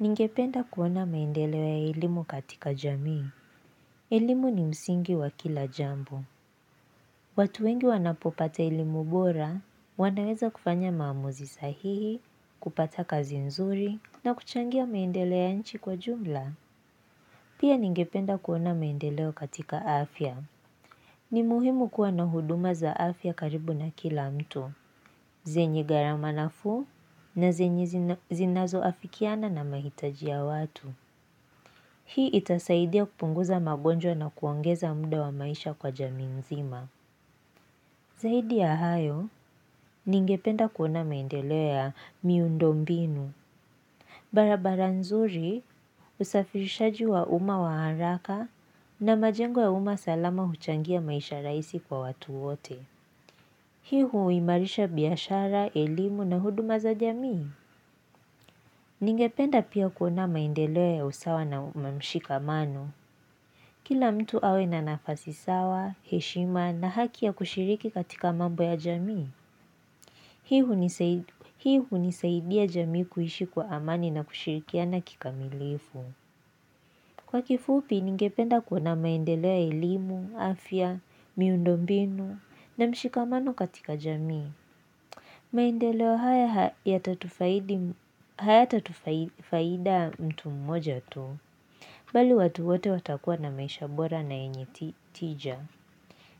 Ningependa kuona maendeleo ya elimu katika jamii. Elimu ni msingi wa kila jambo. Watu wengi wanapopata elimu bora, wanaweza kufanya maamuzi sahihi, kupata kazi nzuri, na kuchangia maendeleo ya nchi kwa ujumla. Pia ningependa kuona maendeleo katika afya. Ni muhimu kuwa na huduma za afya karibu na kila mtu. Zenye garama nafuu, na zenye zina zinazoafikiana na mahitaji ya watu. Hii itasaidia punguza magonjwa na kuongeza mda wa maisha kwa jamii nzima. Zaidi ya hayo, ningependa kuona maendeleo ya miundo mbinu. Barabara nzuri, husafirishaji wa uma wa haraka na majengo ya uma salama huchangia maisha raisi kwa watu wote. Hii huimarisha biashara, elimu na huduma za jamii. Ningependa pia kuona maendeleo ya usawa na um mamshikamano. Kila mtu awe na nafasi sawa, heshima na haki ya kushiriki katika mambo ya jamii. Hii hunisaidia jamii kuishi kwa amani na kushirikiana kikamilifu. Kwa kifupi, ningependa kuona maendeleo ya elimu, afya, miundo mbinu, na mshikamano katika jamii. Maendeleo haya ha yatatufaidi m hayatatufai faida mtu mmoja tu. Bali watu wote watakuwa na maisha bora na yenye ti tija.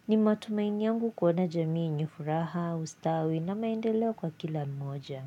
Ni matumaini yangu kuona jamii nye furaha, ustawi na maendeleo kwa kila mmoja.